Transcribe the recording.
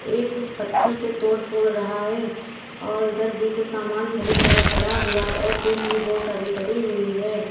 एक कुछ पत्थर से तोड़फोड़ रहा है और उधर भी कुछ सामान बहुत सारा पड़ा हुआ है और टीन भी बहुत सारी पड़ी हुई है।